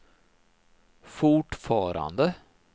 fortfarande